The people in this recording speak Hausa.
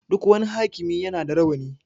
Duk wani hakimi ya na da rawani